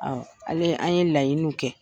Ɔ ale an ye laɲininw kɛ.